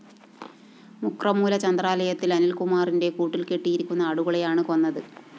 മുക്രമൂല ചന്ദ്രാലയത്തില്‍ അനില്‍കുമാറിന്റെ കൂട്ടില്‍കെട്ടിയിരുന്ന ആടുകളെയാണ് കൊന്നത്